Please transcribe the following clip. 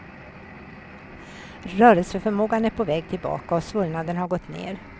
Rörelseförmågan är på väg tillbaka och svullnaden har gått ner.